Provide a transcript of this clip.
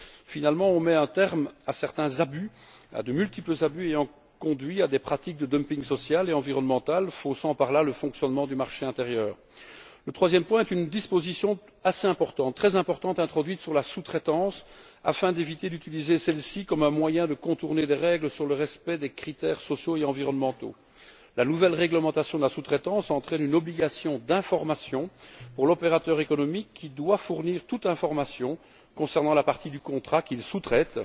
Finalement, on met un terme à de multiples abus ayant conduit à des pratiques de dumping social et environnemental, faussant par là le fonctionnement du marché intérieur. Le troisième point est une disposition très importante introduite sur la sous traitance afin d'éviter que celle ci ne soit utilisée comme un moyen de contourner les règles sur le respect des critères sociaux et environnementaux. La nouvelle réglementation de la sous traitance entraîne une obligation d'information pour l'opérateur économique, qui doit fournir toutes les informations concernant la partie du contrat qu'il sous traite